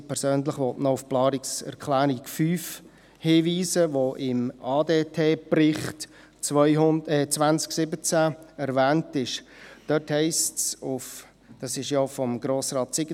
Ich persönlich will noch auf die Planungserklärung 5 von Grossrat Siegenthaler hinweisen, die im ADTBericht 2017 erwähnt ist.